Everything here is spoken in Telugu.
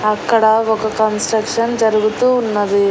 అక్కడ ఒక కన్స్ట్రక్షన్ జరుగుతూ ఉన్నది.